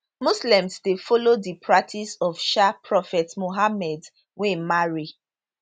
muslims dey follow di practice of um prophet mohammed wey marry